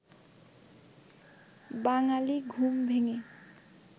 বাঙালি ঘুম ভেঙে